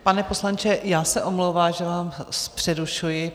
Pane poslanče, já se omlouvám, že vás přerušuji.